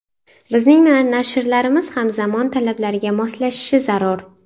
Bizning nashrlarimiz ham zamon talablariga moslashishi zarur.